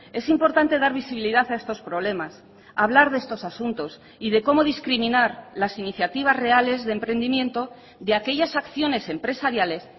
es importante dar visibilidad a estos problemas hablar de estos asuntos y de cómo discriminar las iniciativas reales de emprendimiento de aquellas acciones empresariales